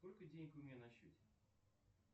сколько денег у меня на счете